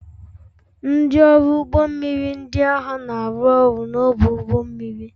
Ndị ọrụ ụgbọ mmiri ndị agha na-arụ ọrụ n'ọdụ ụgbọ mmiri